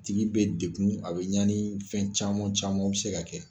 Tigi bɛ dekun ,a bɛ ɲani fɛn caman caman bɛ se ka kɛ.